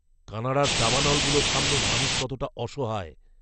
কানাডার দাবানলগুলোর সামনে মানুষ কতটা অসহায়!